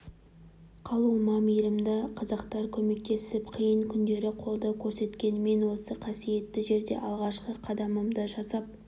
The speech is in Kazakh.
қалуыма мейірімді қазақтар көмектесіп қиын күндері қолдау көрсеткен мен осы қасиетті жерде алғашқы қадамымды жасап